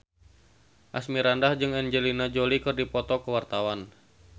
Asmirandah jeung Angelina Jolie keur dipoto ku wartawan